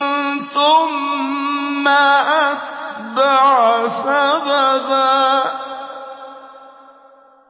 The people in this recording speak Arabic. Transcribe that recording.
ثُمَّ أَتْبَعَ سَبَبًا